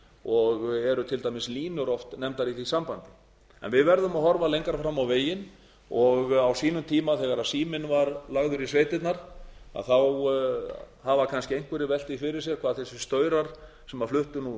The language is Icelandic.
og eru til dæmis línur oft nefndar í því sambandi en við verðum að horfa lengra fram á veginn og á sínum tíma þegar síminn var lagður í sveitirnar hafa kannski einhverjir velt því fyrir sér hvað þessir staurar sem fluttu